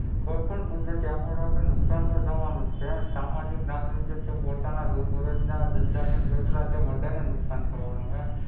કોઈ પણ કુદરતી આફત આવે તો નુકસાન તો થવાનું જ હેં. સામાજિક નાગરિક જે પોતાના રોજબરોજના ધંધા લઈને બેઠેલા તે બધાને નુકસાન થવાનું.